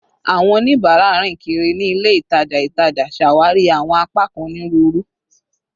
Awọn onibara rin kiri ni ile itaja itaja, ṣawari awọn apakan oniruuru